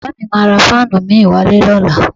Bàbá mi máa ra fáànù mi wálé lọ́la